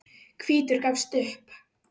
Hvítur gafst upp.